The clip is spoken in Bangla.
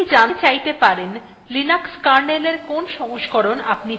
আপনি জানতে চাইতে পারেন linux kernel এর কোন সংস্করণ আপনি চালাচ্ছেন